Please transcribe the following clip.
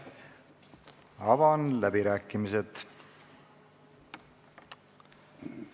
Avan läbirääkimised.